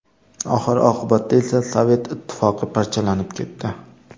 Oxir-oqibatda esa Sovet Ittifoqi parchalanib ketdi.